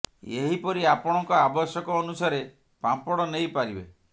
ଏହି ପରି ଆପଣଙ୍କ ଆବଶ୍ୟକ ଅନୁସାରେ ପାମ୍ପଡ଼ ନେଇ ପାରିବେ